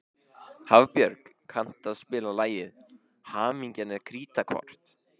Hafbjörg, kanntu að spila lagið „Hamingjan er krítarkort“?